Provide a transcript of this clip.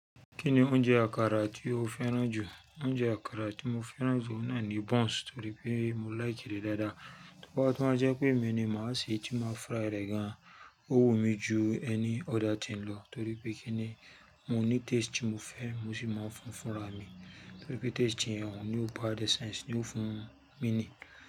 Kíni oúnjẹ àkàrà tí o fẹ́ràn jù? Oúnjẹ àkàrà tí mo fẹ́ràn jù náà ni buns, torí pé mo like rẹ̀ dáadáa. Toba tun wa jẹ́ pé emi ni màá ṣe, tí màá fry rẹ̀ gan-an. Ó wù mí ju ẹni other thing lọ, torí pé kíni, mo ní taste tí mo fẹ́, mo sì máa ń fún fúnra mi. Torí pé taste tí ẹ̀ ń hun, ni ó gba the sense, ni ó fún mi ni.